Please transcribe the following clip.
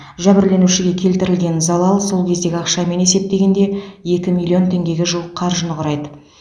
жәбірленушіге келтірілген залал сол кездегі ақшамен есептегенде екі миллион теңгеге жуық қаржыны құрайды